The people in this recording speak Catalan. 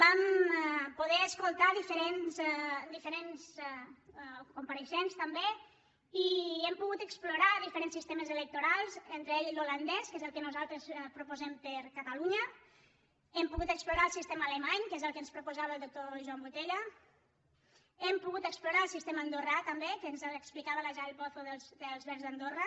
vam poder escoltar dife·rents compareixents també i hem pogut explorar di·ferents sistemes electorals entre ells l’holandès que és el que nosaltres proposem per a catalunya hem pogut explorar el sistema alemany que és el que ens proposava el doctor joan botella hem pogut explorar el sistema andorrà també que ens l’explicava la jael pozo dels verds d’andorra